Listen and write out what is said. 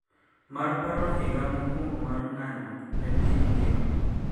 Mar paro higa mokwongo mar ng`anyo ne piny ngima